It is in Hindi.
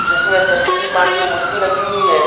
जिसमें सरस्वती मां की मूर्ति रखी हुई है।